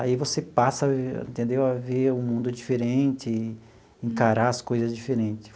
Aí você passa a entendeu a ver o mundo diferente, encarar as coisas diferente.